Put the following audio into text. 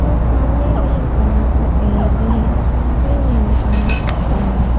और सामने में एक बड़ा सा पेड़ भी है और पीछे में भी बड़ा सा पेड़ है।